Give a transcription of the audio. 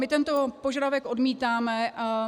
My tento požadavek odmítáme.